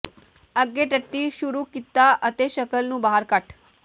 ਅੱਗੇ ਟੱਟੀ ਸ਼ੁਰੂ ਕੀਤਾ ਅਤੇ ਸ਼ਕਲ ਨੂੰ ਬਾਹਰ ਕੱਟ